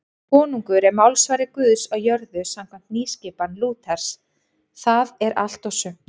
Konungur er málsvari Guðs á jörðu samkvæmt nýskipan Lúters, það er allt og sumt.